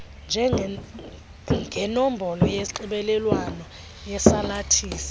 ngenombolo yonxibelelwano yesalathisi